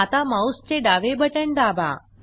आता माऊसचे डावे बटण दाबा